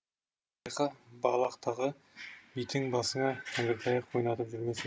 байқа балақтағы битің басыңа әңгіртаяқ ойнатып жүрмесін